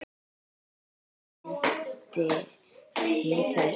Hvað bendir til þess?